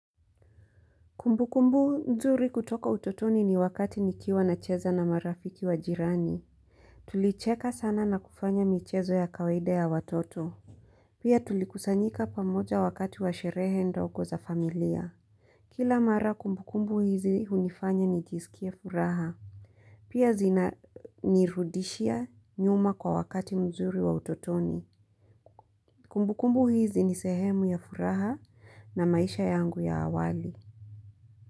Kumbu kumbu nzuri kutoka utotoni ni wakati nikiwa na cheza na marafiki wa jirani. Tulicheka sana na kufanya michezo ya kawaida ya watoto. Pia tulikusanyika pamoja wakati wa sherehe ndogo za familia. Kila mara kumbu kumbu hizi hunifanya nijisikie furaha. Pia zina nirudishia nyuma kwa wakati mzuri wa utotoni. Kumbu kumbu hizi ni sehemu ya furaha na maisha yangu ya awali.